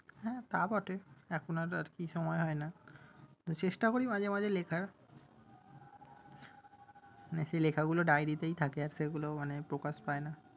হ্যাঁ তা বটে, এখন আর আরকি সময় হয় না। তো চেষ্টা করি মাঝে মাঝে লেখার। না সেই লেখাগুলো diary তেই থাকে, সেগুলো আর প্রকাশ পায় না।